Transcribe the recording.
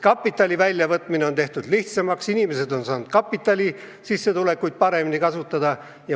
Kapitali väljavõtmine on tehtud lihtsamaks, inimesed on saanud oma sissetulekuid paremini kasutada.